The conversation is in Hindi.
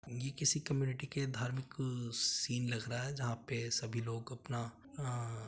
ये किसी कम्युनिटी के धर्म क सीन लग रहा है जहाँ पे सभी लोग अपना अं --